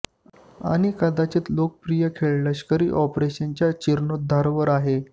आणि कदाचित लोकप्रिय खेळ लष्करी ऑपरेशन च्या जीर्णोद्धार वर आहे